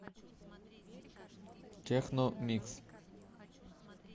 техно микс